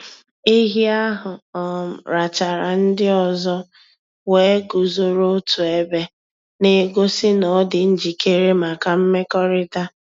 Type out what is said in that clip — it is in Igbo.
Ehi ahụ um rachara ndị ọzọ wee guzoro otu ebe, na-egosi na ọ dị njikere maka imekọrịta.